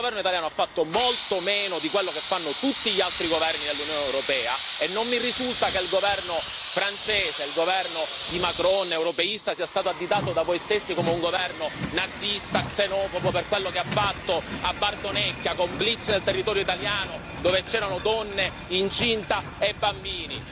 Il governo italiano ha fatto molto meno di quello che fanno tutti gli altri governi nell'Unione europea e non mi risulta che il governo francese, il governo di Macron europeista, sia stato additato da voi stessi come un governo nazista, xenofobo, per quello che ha fatto a Bardonecchia con blitz nel territorio italiano, dove c'erano donne incinta e bambini.